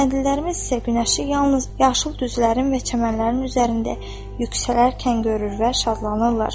Kəndlilərimiz isə günəşi yalnız yaşıl düzlərin və çəmənlərin üzərində yüksələrkən görür və şadlanırlar.